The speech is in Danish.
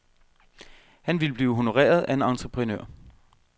Han ville blive honoreret af en entreprenør.